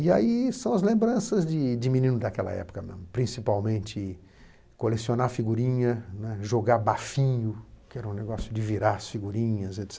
E aí são as lembranças de de menino daquela época, principalmente colecionar figurinha, né, jogar bafinho, que era um negócio de virar as figurinhas et cetera.